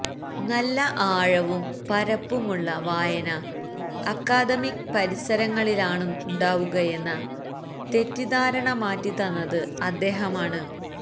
നല്ല ആഴവും പരപ്പുമുള്ള വായന അക്കാദമിക് പരിസരങ്ങളിലാണുണ്ടാവുകയെന്ന തെറ്റിദ്ധാരണ മാറ്റിത്തന്നത് അദ്ദേഹമാണ്